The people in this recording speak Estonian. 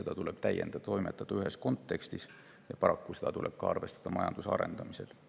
toimetada ühes kontekstis ja paraku tuleb seda arvestada ka majanduse arendamisel.